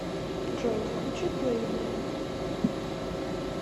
джой включи блэйни